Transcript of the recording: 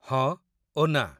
ହଁ ଓ ନା!